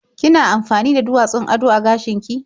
Kina amfani da duwatsun ado a gashin ki?